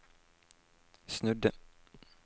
snudde